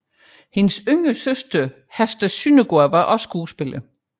Hendes yngre søster Hester Sondergaard var også skuespiller